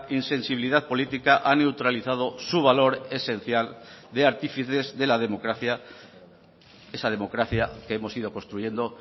insensibilidad política ha neutralizado su valor esencial de artífices de la democracia esa democracia que hemos ido construyendo